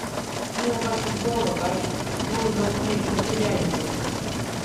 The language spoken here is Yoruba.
bí wọn bá ti gbọ ọrọ báyìí wọn ń lọ sínú iṣẹ sójà nìyẹn